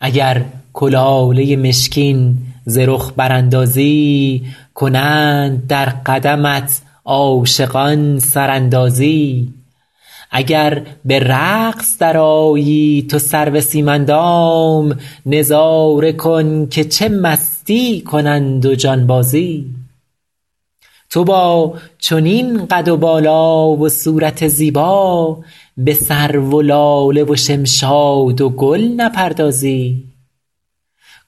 اگر کلاله مشکین ز رخ براندازی کنند در قدمت عاشقان سراندازی اگر به رقص درآیی تو سرو سیم اندام نظاره کن که چه مستی کنند و جانبازی تو با چنین قد و بالا و صورت زیبا به سرو و لاله و شمشاد و گل نپردازی